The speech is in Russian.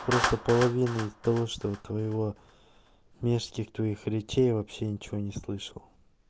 просто половины того что у твоего мерзких твоих речей вообще ничего не слышал